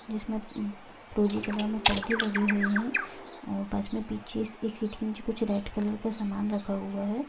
जिसमे प-फिरोजी कलर में परदे लगे हुए है और बस में पिछे एक सीट के नीचे कुछ रेड कलर का सामान रखा हुआ है।